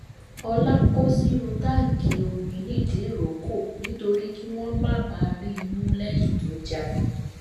ọlá kó sínú táǹkì omi nìdírọkọ nítorí kí wọn má bàa rí i mú lẹyìn tó jalè